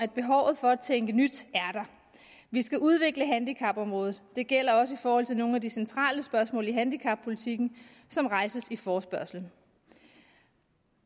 behov for at tænke nyt vi skal udvikle handicapområdet det gælder også i forhold til nogle af de centrale spørgsmål i handicappolitikken som rejses i forespørgslen